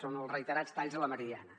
són els reiterats talls a la meridiana